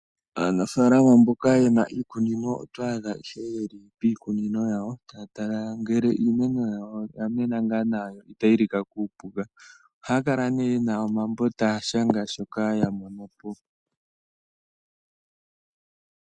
Aanafaalama mboka ye na iikunino oto adha ye li piikunino yawo taya tala ngele iimeno yawo oya mena ngaa nawa no itayi lika kuupuka. Ohaa kala nduno ye na omambo taya shanga shoka ya mono po.